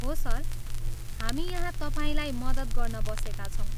हो सर, हामी यहाँ तपाईँलाई मद्दत गर्न बसेका छौँ।